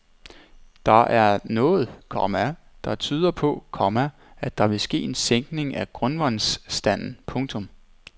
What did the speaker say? Der er noget, komma der tyder på, komma at der vil ske en sænkning af grundvandsstanden. punktum